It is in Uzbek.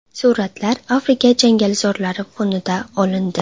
Suratlar Afrika changalzorlari fonida olindi.